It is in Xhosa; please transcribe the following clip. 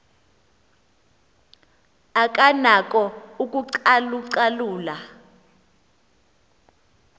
akanako ukucalu calula